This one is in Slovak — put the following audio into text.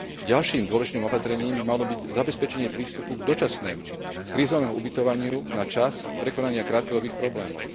Ďalším dôležitým opatrením by malo byť zabezpečenie prístupu k dočasnému krízovému ubytovaniu na čas prekonania krátkodobých problémov.